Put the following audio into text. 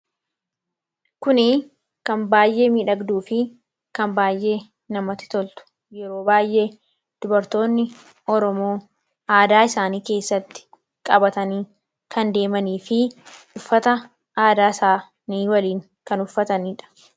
Kuni kan baayee miidhagduu fi kan baayyee namatti toltu yeroo baay'ee dubartoonni Oromoo aadaa isaanii keessatti qabatanii kan deemanii fi uffata aadaa isaani waliin kan uffataniidha.